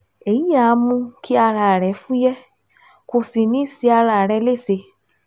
Èyí á mú kí ara rẹ fúyẹ́, kò sì ní ṣe ara rẹ léṣe